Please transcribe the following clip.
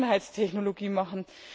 Vergangenheitstechnologie machen.